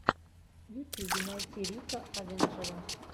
в ютьюбе найти рика авенджера